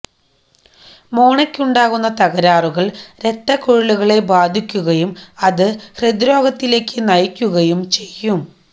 മോണയ്ക്കുണ്ടാകുന്ന തകരാറുകൾ രക്തക്കുഴലുകളെ ബാധിക്കുകയും അത് ഹൃദ്രോഗത്തിലേക്ക് നയിക്കുകയും ചെയ്യും